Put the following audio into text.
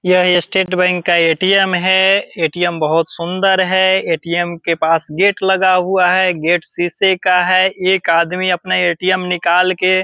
यह state bank का ATM. है ए.टी.एम. बहुत सुंदर है ए.टी.एम. के पास गेट लगा हुआ है गेट शीशे का है एक आदमी अपने ए.टी.एम. निकाल के --